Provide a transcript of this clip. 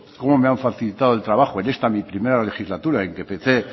cómo me han facilitado el trabajo en esta mi primera legislatura en que empecé